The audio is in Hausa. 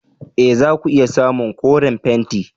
E! za ku iya samun koren fenti.